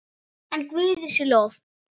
En Guði sé lof.